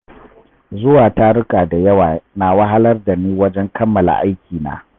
Zuwa taruka da yawa na wahalar da ni wajen kammala aikina.